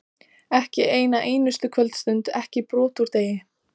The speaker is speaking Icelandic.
Ekki eina einustu kvöldstund, ekki brot úr degi.